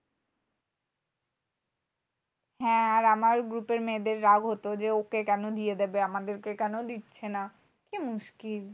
হ্যাঁ আর আমার group এর মেয়েদের রাগ হতো যে, ওকে কেন দিয়ে দেবে? আমাদের কে কেন দিচ্ছে না? কি মুশকিল?